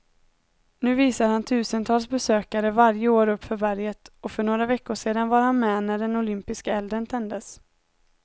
Nu visar han tusentals besökare varje år uppför berget, och för några veckor sedan var han med när den olympiska elden tändes.